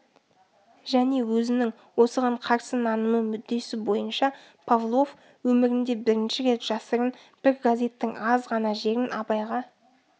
және өзінің осыған қарсы нанымы мүддесі бойынша павлов өмірінде бірінші рет жасырын бір газеттің аз ғана жерін абайға